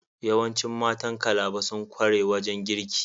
Yawancin matan Calabar sun kware wajen girki.